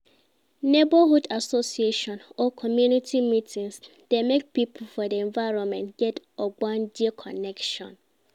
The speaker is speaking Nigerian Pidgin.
neighborhood association or community meetings dey make pipo for di environment get ogbonge connection